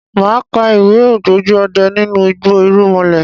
Màá ka ìwé " ògbójú ọdẹ nínú igbó irúnmalẹ̀".